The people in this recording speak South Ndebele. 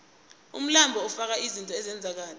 umlando ufaka izinto ezenzeka kade